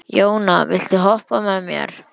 Jóna, viltu hoppa með mér?